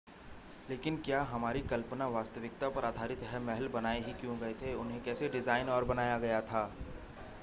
लेकिन क्या हमारी कल्पना वास्तविकता पर आधारित है महल बनाए ही क्यों गए थे उन्हें कैसे डिज़ाइन और बनाया गया था